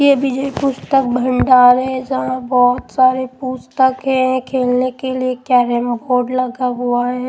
ये विजय पुस्तक भंडार है जहां बहुत सारे पुस्तक है खेलने के लिए कैरेम बोर्ड लगा हुआ है।